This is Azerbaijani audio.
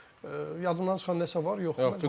Yadımdan çıxan nəsə var, yoxdur.